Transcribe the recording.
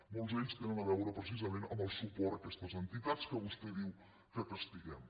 molts tenen a veure precisament amb el suport a aquestes entitats que vostè diu que castiguem